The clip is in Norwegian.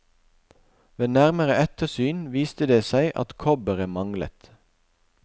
Ved nærmere ettersyn viste det seg at kobberet manglet.